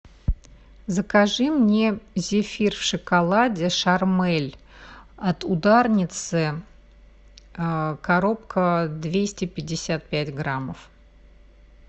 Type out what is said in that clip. закажи мне зефир в шоколаде шармель от ударницы коробка двести пятьдесят пять граммов